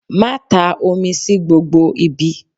Má ta omi sí gbogbo ibi.!